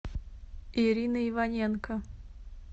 ирина иваненко